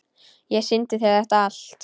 Ég sýndi þér þetta allt.